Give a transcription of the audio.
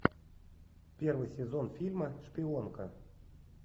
первый сезон фильма шпионка